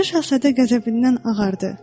Balaca Şahzadə qəzəbindən ağardı.